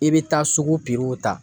I bɛ taa sugu ta